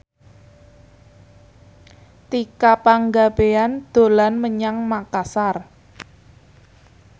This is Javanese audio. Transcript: Tika Pangabean dolan menyang Makasar